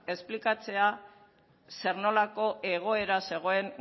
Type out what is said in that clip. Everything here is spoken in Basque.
esplikatzea zer nolako egoera zegoen